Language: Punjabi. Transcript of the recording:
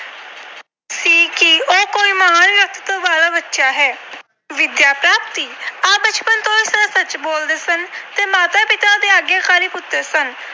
ਵਾਲਾ ਬੱਚਾ ਹੈ। ਵਿਦਿਆ ਪ੍ਰਾਪਤੀ - ਆਪ ਬਚਪਨ ਤੋਂ ਸਦਾ ਸੱਚ ਬੋਲਦੇ ਸਨ ਤੇ ਮਾਤਾ-ਪਿਤਾ ਦੇ ਆਗਿਆਕਾਰੀ ਪੁੱਤਰ ਸਨ।